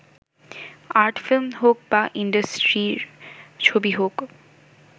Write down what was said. art film হোক বা ইন্ডাস্ট্রির ছবি হোক